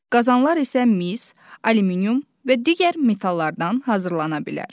qazanlar isə mis, alüminium və digər metallardan hazırlana bilər.